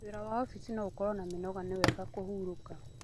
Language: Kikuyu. Wĩra wa ofici no ũkorwo na mĩnoga nĩ wega kũhurũka.